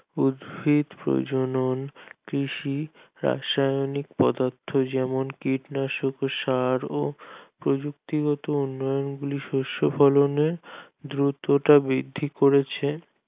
উদ্ভিদ প্রজনন কৃষি ব্যাবসায়িক পদার্থ যেমন কীটনাশক সার ও প্রযুক্তি গত উন্নয়ন গুলোর শস্য উন্নয়নের দ্রুত টা বৃদ্ধি করেছে